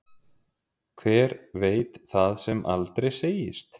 Hver veit það sem aldrei segist.